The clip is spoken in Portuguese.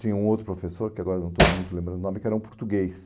Tinha um outro professor, que agora não estou muito lembrando o nome, que era um português.